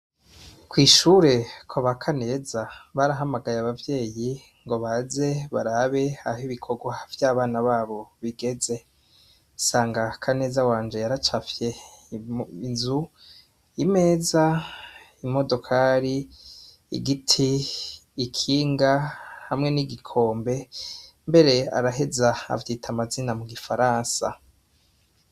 Kw' ishuri kwa ba Kaneza barahamagaye abavyeyi ngo baze barabe aho ibikorwa vy' abana babo bigeze. Nsanga Kaneza wanje yaracafye inzu, imeza, imodokari , igiti, ikibuga, hamwe n' igikombe, mbere araheza avyita amazina mu gifaransa.